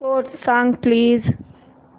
score सांग please